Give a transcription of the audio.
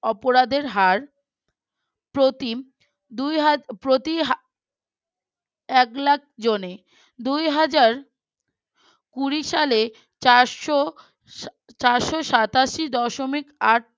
এক লাখ জনে দুই হাজার কুরি সালে চারশো চারশো সাতাশি দশমিক আট